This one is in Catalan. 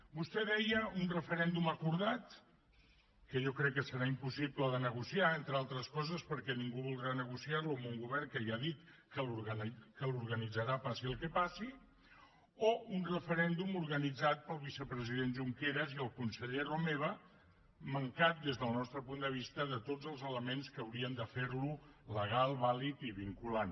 vostè deia un referèndum acordat que jo crec que serà impossible de negociar entre altres coses perquè ningú voldrà negociar lo amb un govern que ja ha dit que l’organitzarà passi el que passi o un referèndum organitzat pel vicepresident junqueras i el conseller romeva mancat des del nostre punt de vista de tots els elements que haurien de fer lo legal vàlid i vinculant